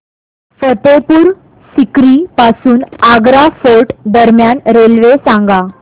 फतेहपुर सीकरी पासून आग्रा फोर्ट दरम्यान रेल्वे सांगा